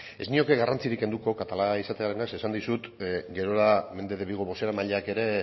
ez nioke garrantzirik kenduko zeren esan dizut gerora mende de vigo bozeramaile ere